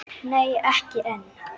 Nei ekki enn.